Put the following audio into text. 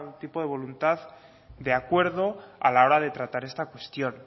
tipo de voluntad de acuerdo a la hora de tratar esta cuestión